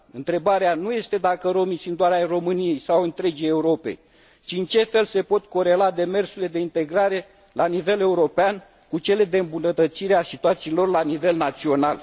Întrebarea nu este dacă romii sunt doar ai României sau ai întregii Europe, ci în ce fel se pot corela demersurile de integrare la nivel european, cu cele de îmbunătățire a situațiilor la nivel național.